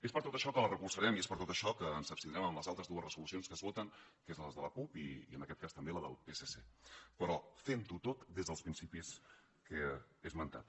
és per tot això que la recolzarem i és per tot això que ens abstindrem en les altres dues resolucions que es voten que són la de la cup i en aquest cas també la del psc però fent ho tot des dels principis que he esmentat